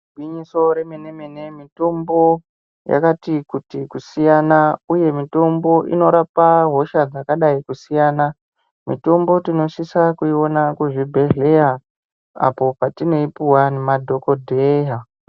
Igwinyiso remene mene mitombo yakati kuti kusiyana uye mitombo inorapa hosha dzakadai kusiyana mitombo tinosisa kuiona kuzvibhedhleya apo patinoipuwa ngemadhokodheya.